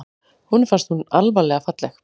Honum fannst hún alvarlega falleg.